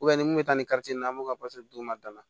ni min bɛ taa ni karitɔn in an bɛ ka d'u ma